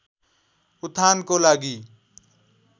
उत्थानको लागि